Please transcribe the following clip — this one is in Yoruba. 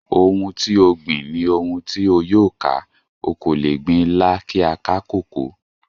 Ohùn ti o gbìn, ni ohùn ti o yóò ká, o ko le gbìn Ìlà kí a ká koko.